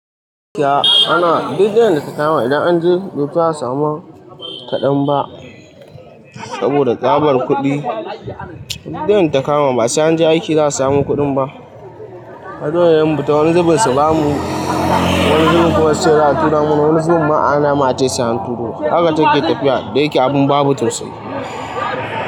Ana duk wanda ka kawo ma wannan an je dutse ba'a samu kadan ba saboda tsabar kudi. Duk yanda ta kama ba sai an je aiki za'a samu kudin ba. Hanyoyin yumbu ta wani zubun su bamu, wani zubin kuma suce za'a tura mu, wani zubun ma ana mu ace sai'an turo. Haka take tafiya da yake abin babu tausayi.